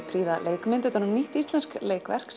prýða leikmynd utan um nýtt íslenskt leikverk